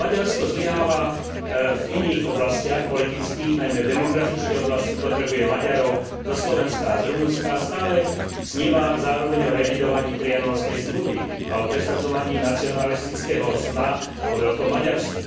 Ale Maďarsko zlyháva v iných oblastiach politických, najmä v demografickej oblasti, potrebuje Maďarov zo Slovenska a z Rumunska, a stále sníva zároveň o revidovaní Trianonskej zmluvy a o presadzovaní nacionalistického sna o veľkom Maďarsku.